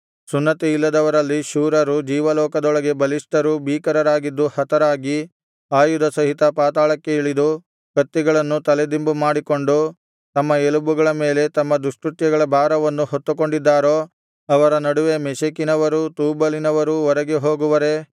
ಸುನ್ನತಿಯಿಲ್ಲದವರಲ್ಲಿ ಶೂರರು ಜೀವಲೋಕದೊಳಗೆ ಬಲಿಷ್ಠರಿಗೂ ಭೀಕರರಾಗಿದ್ದು ಹತರಾಗಿ ಆಯುಧ ಸಹಿತ ಪಾತಾಳಕ್ಕೆ ಇಳಿದು ಕತ್ತಿಗಳನ್ನು ತಲೆದಿಂಬು ಮಾಡಿಕೊಂಡು ತಮ್ಮ ಎಲಬುಗಳ ಮೇಲೆ ತಮ್ಮ ದುಷ್ಕೃತ್ಯಗಳ ಭಾರವನ್ನು ಹೊತ್ತುಕೊಂಡಿದ್ದಾರೋ ಅವರ ನಡುವೆ ಮೆಷೆಕಿನವರೂ ತೂಬಲಿನವರೂ ಒರಗದೆ ಹೋಗುವರೇ